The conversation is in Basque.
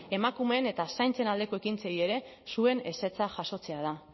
emakumeen eta zaintzen aldeko ekintzei ere zuen ezetza jasotzea da